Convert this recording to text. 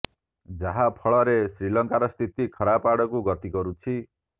ଯାହା ଫଳରେ ଶ୍ରୀଲଙ୍କାର ସ୍ଥିତି ଖରାପ ଆଡ଼କୁ ଗତି କରୁଛି